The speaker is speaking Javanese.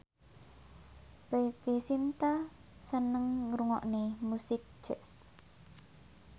Preity Zinta seneng ngrungokne musik jazz